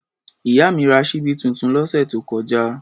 Ìyá mi ra ṣíbí tuntun lọ́sẹ̀ tó kọjá.